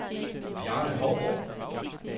Bjarne Hougaard